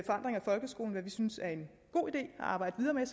folkeskolen hvad vi synes er en god idé at arbejde videre